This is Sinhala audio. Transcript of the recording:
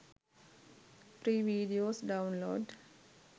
free videos download